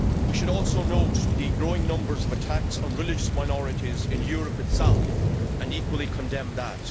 We should also note the growing numbers of attacks on religious minorities in Europe itself and equally condemn that.